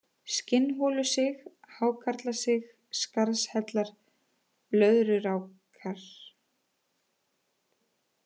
Skinnholusig, Hákarlasig, Skarðshellar, Blöðkurákar